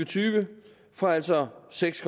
tyve fra altså seks